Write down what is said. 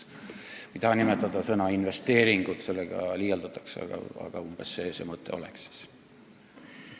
Ma ei taha kasutada sõna "investeeringud", sest sellega liialdatakse, aga umbes see mõte asjal on.